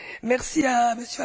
Merci